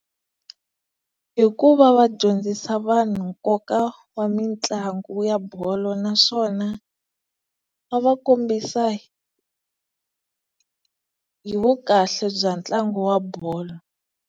Hikuva va dyondzisa vanhu nkoka wa mitlangu ya bolo naswona va va kombisa hi vukahle bya ntlangu wa bolo.